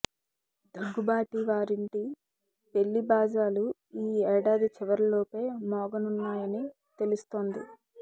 దగ్గుబాటి వారింటి పెళ్లి బాజాలు ఈ ఏడాది చివరిలోపే మోగనున్నాయని తెలుస్తోంది